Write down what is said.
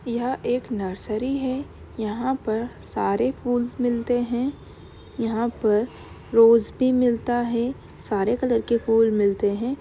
यह एक नर्सरी है। यहाँ पर सारे फूल्स मिलते हैं यहाँ पर रोज़ भी मिलता है सारे कलर के फूल मिलते हैं।